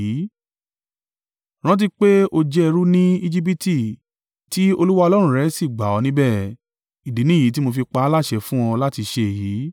Rántí pé o jẹ́ ẹrú ní Ejibiti tí Olúwa Ọlọ́run rẹ sì gbà ọ́ níbẹ̀. Ìdí nìyí tí mo fi pa á láṣẹ fún ọ láti ṣe èyí.